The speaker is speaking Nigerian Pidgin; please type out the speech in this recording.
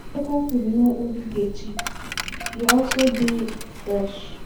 Local food no only dey cheap, e also dey fresh